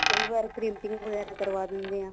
ਕਈ ਵਾਰ printing ਵਗੈਰਾ ਕਰਵਾ ਦਿੰਦੇ ਹਾਂ